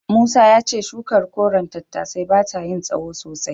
Musa ya ce shukar koren tattasai bata yin tsahon sosai.